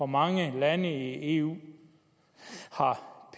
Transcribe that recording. mange lande i eu har